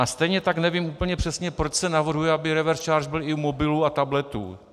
A stejně tak nevím úplně přesně, proč se navrhuje, aby reverse charge byl i u mobilů a tabletů.